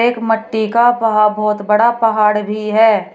एक मट्टी का वहा बहोत बड़ा पहाड़ भी है।